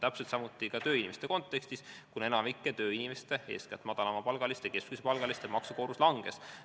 Täpselt samuti oli ka tööinimeste kontekstis, kuna enamiku tööinimeste, eeskätt madalama ja keskmise palgaga inimeste maksukoormus langes.